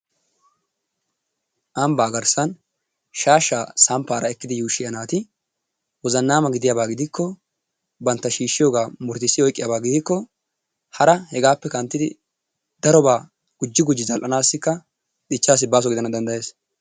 Ambaa garssan shaashaa samppaara ekkidi yuushshiya naati wozannaama gidiyaba gidikko bantta shiishiyogaa muruttissi oyiqqiyaaba gidikko hara hegaappe kanttidi darobaa gujji gujji zal"anaassikka dichchaassi baaso gidana dandayes.